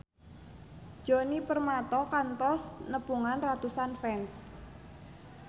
Djoni Permato kantos nepungan ratusan fans